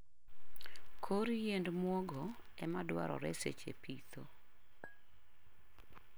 kor yiend mwogo ema dwarore seche pitho.